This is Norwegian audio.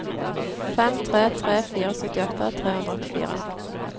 fem tre tre fire syttiåtte tre hundre og åttifire